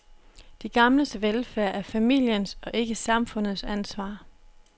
De gamles velfærd er familiens og ikke samfundets ansvar.